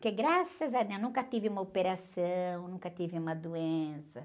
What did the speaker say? Porque graças a Deus, nunca tive uma operação, nunca tive uma doença.